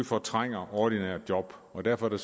fortrænger ordinære job og derfor er